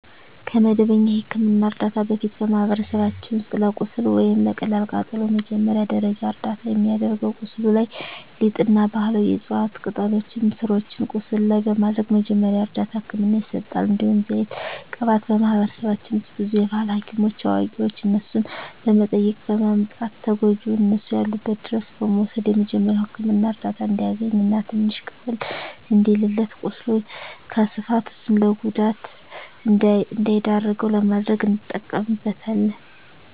ከመደበኛ የሕክምና ዕርዳታ በፊት፣ በማኅበረሰባችን ውስጥ ለቁስል ወይም ለቀላል ቃጠሎ መጀመሪያ ደረጃ እርዳታ የሚደረገው ቁስሉ ላይ ሊጥ እና ባህላዊ የዕፅዋት ቅጠሎችን ስሮችን ቁስሉ ላይ በማድረግ መጀመሪያ እርዳታ ህክምና ይሰጣል። እንዲሁም ዘይት ቅባት በማህበረሰባችን ውስጥ ብዙ የባህል ሀኪሞች አዋቂዋች እነሱን በመጠየቅ በማምጣት ተጎጅውን እነሱ ያሉበት ድረስ በመውሰድ የመጀሪያዉ ህክምና እርዳታ እንዲያገኝ እና ትንሽ ቀለል እንዲልለት ቁስሉ ከስፋፋት እሱን ለጉዳት እንዳይዳርገው ለማድረግ እንጠቀምበታለን።